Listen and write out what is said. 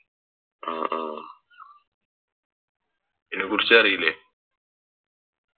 ആഹ് ആഹ് അയിനെക്കുറിച്ചറീല്ലേ